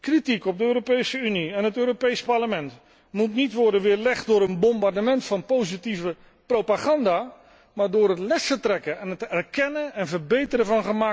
Kritiek op de Europese Unie en het Europees Parlement moet niet worden weerlegd door een bombardement van positieve propaganda, maar door lessen te trekken en gemaakte fouten te erkennen en te verbeteren.